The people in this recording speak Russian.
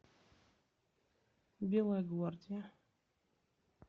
белая гвардия